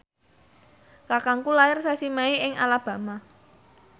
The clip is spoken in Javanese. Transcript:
kakangku lair sasi Mei ing Alabama